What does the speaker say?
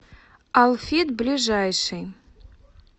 алфит ближайший